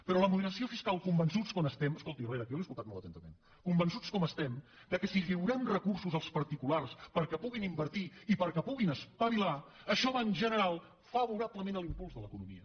però la moderació fiscal convençuts com estem escolti herrera que jo l’he escoltat molt atentament que si lliurem recursos als particulars perquè puguin invertir i perquè puguin espavilar això va en general favorablement a l’impuls de l’economia